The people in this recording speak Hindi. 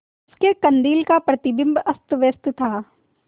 उसके कंदील का प्रतिबिंब अस्तव्यस्त था